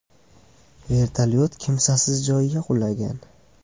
Vertolyot kimsasiz joyga qulagan.